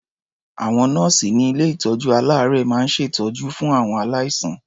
Àwọn nọ́ọ̀sì ní ilé-ìtọ́jú-aláàárẹ̀ máa ń ṣètọ́jú fún àwọn aláìsàn.